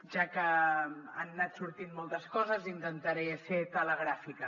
ja que han anat sortint moltes coses intentaré ser telegràfica